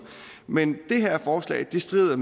men det her forslag strider